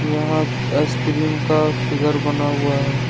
यहां आइसक्रीम का फिगर बना हुआ है।